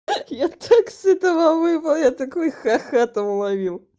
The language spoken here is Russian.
я так с этого вывод такой ха-ха там уловил